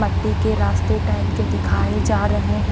मट्टी के रास्ते टाइप के दिखाए जा रहे है।